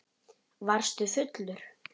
Varstu fullur?